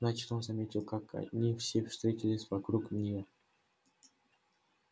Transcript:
значит он заметил как они все встретились вокруг нее